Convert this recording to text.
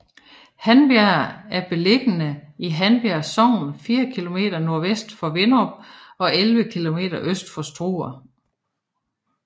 Handbjerg er beliggende i Handbjerg Sogn fire kilometer sydvest for Vinderup og 11 kilometer øst for Struer